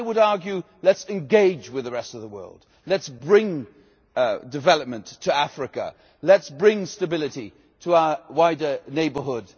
I would argue, let us engage with the rest of the world, let us bring development to Africa, let us bring stability to our wider neighbourhood.